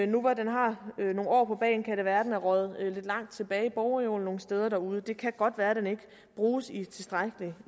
nu hvor den har nogle år på bagen kan det være at den er røget lidt langt tilbage i bogreolen nogle steder derude det kan godt være at den ikke bruges i tilstrækkelig